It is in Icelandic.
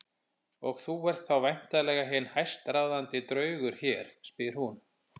Og þú ert þá væntanlega hinn hæstráðandi draugur hér, spyr hún.